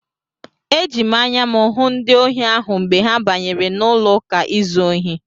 Eji m anya m hụ ndị ohi ahụ mgbe ha banyere n'ụlọụka izu ohi.